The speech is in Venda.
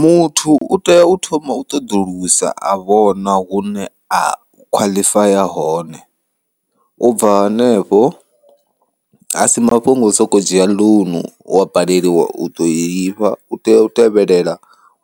Muthu u tea u thoma u ṱoḓulusa a vhona hune a khwaḽifaya hone, ubva hanefho asi mafhungo o soko dzhia ḽounu wa baleliwa u ḓo lifha, u tea u tevhelela